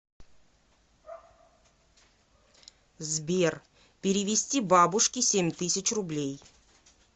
сбер перевести бабушке семь тысяч рублей